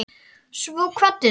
Svo kvaddir þú.